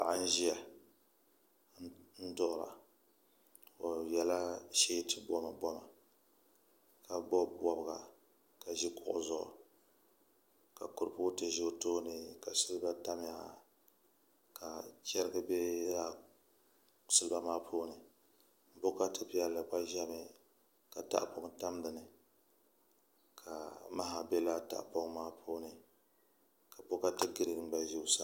Paɣa n ʒiya n duɣura o yɛla sheeti boma boma ka bob bobga ka ʒi kuɣu zuɣu ka kuripooti ʒɛ o tooni ka silba tamya ka chɛrigi bɛ laa silba maa puuni bokati piɛlli gba ʒɛmi ka tahapoŋ tam dinni ka maha bɛ laa tahapoŋ maa puuni ka bokati giriin gba ʒɛ o sani